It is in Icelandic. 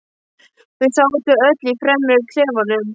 Þau sátu öll í fremri klefanum.